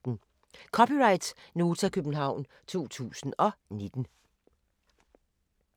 (c) Nota, København 2019